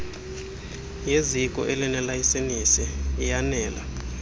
yezio elinelayisenisi iyanela